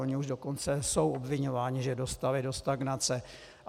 Oni už dokonce jsou obviňováni, že dostali do stagnace.